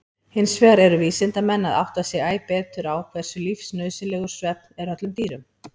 Hinsvegar eru vísindamenn að átta sig æ betur á hversu lífsnauðsynlegur svefn er öllum dýrum.